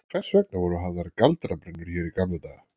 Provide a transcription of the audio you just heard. Hvers vegna voru hafðar galdrabrennur hér í gamla daga?